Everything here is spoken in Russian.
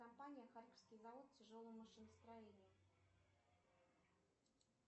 компания харьковский завод тяжелого машиностроения